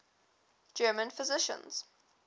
german physicians